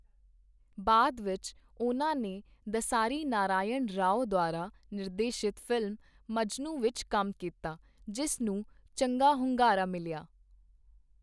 ਬਾਅਦ ਵਿੱਚ, ਉਹਨਾਂ ਨੇ ਦਸਾਰੀ ਨਾਰਾਇਣ ਰਾਓ ਦੁਆਰਾ ਨਿਰਦੇਸ਼ਿਤ ਫ਼ਿਲਮ 'ਮਜਨੂੰ' ਵਿੱਚ ਕੰਮ ਕੀਤਾ, ਜਿਸ ਨੂੰ ਚੰਗਾ ਹੁੰਗਾਰਾ ਮਿਲਿਆ।